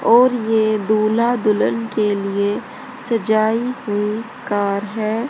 और ये दूल्हा दुल्हन के लिए सजाई हुई कार है।